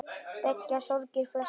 Beygja sorgir flesta.